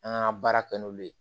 An ka baara kɛ n'olu ye